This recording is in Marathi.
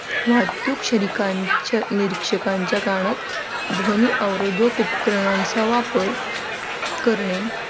वाहतूक निरीक्षकांच्या कानात ध्वनी अव रोधक उपकरणांचा वापर करणे.